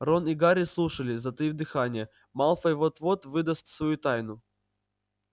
рон и гарри слушали затаив дыхание малфой вот-вот выдаст свою тайну